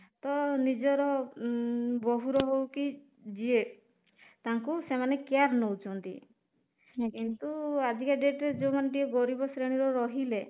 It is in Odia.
ତ ନିଜର ଉମ ବୋହୂର ହଉ କି ଯିଏ ତାଙ୍କୁ ସେମାନେ care ନେଉଚନ୍ତି କିନ୍ତୁ ଆଜି କା date ରେ ଯୋଉ ମାନେ ଟିକେ ଗରିବ ଶ୍ରେଣୀ ର ରହିଲେ